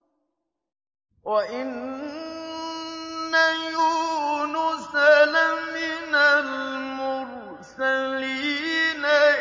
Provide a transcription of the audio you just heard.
وَإِنَّ يُونُسَ لَمِنَ الْمُرْسَلِينَ